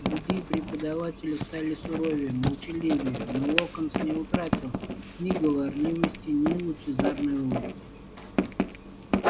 другие преподаватели стали суровее молчаливее но локонс не утратил ни говорливости ни лучезарной улыбки